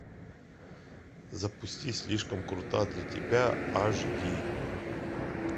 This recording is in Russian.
запусти слишком крута для тебя аш ди